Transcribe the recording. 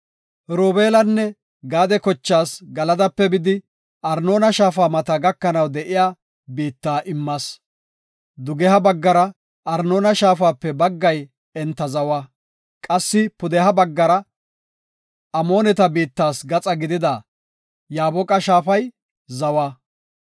Robeelanne Gaade kochaas Galadape bidi Arnoona shaafa mata gakanaw de7iya biitta immas. Dugeha baggara Arnoona Shaafape baggay enta zawa; qassi pudeha baggara Amooneta biittas gaxa gidida Yaaboqa shaafay zawa.